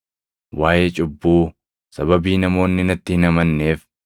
waaʼee cubbuu, sababii namoonni natti hin amanneef;